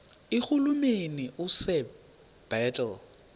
irhuluneli usir bartle